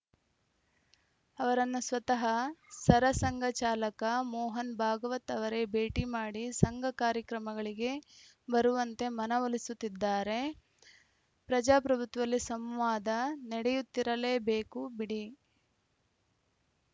ಅವರನ್ನು ಸ್ವತಃ ಸರಸಂಘ ಚಾಲಕ ಮೋಹನ್‌ ಭಾಗವತ್‌ ಅವರೇ ಭೇಟಿ ಮಾಡಿ ಸಂಘ ಕಾರ್ಯಕ್ರಮಗಳಿಗೆ ಬರುವಂತೆ ಮನ ಒಲಿಸುತ್ತಿದ್ದಾರೆ ಪ್ರಜಾಪ್ರಭುತ್ವದಲ್ಲಿ ಸಂವಾದ ನಡೆಯುತ್ತಿರಲೇ ಬೇಕು ಬಿಡಿ